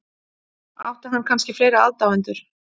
Átti hann kannski fleiri aðdáendur?